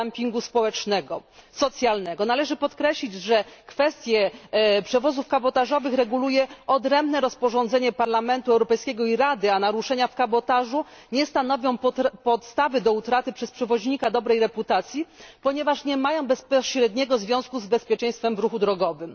dumpingu społecznego, socjalnego. Należy podkreślić, że kwestie przewozów kabotażowych reguluje odrębne rozporządzenie Parlamentu Europejskiego i Rady, a naruszenia w kabotażu nie stanowią podstawy do utraty dobrej reputacji przez przewoźnika, ponieważ nie mają bezpośredniego związku z bezpieczeństwem w ruchu drogowym.